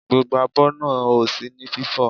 Gbogbo abọ́ náà ò sí ní fífò.